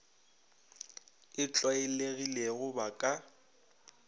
e tlwael egilego ba ka